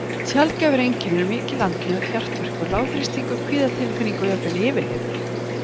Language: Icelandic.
Sjaldgæfari einkenni eru mikil andnauð, hjartverkur, lágþrýstingur, kvíðatilfinning og jafnvel yfirlið.